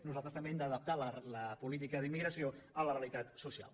nosaltres també hem d’adaptar la política d’immigració a la realitat social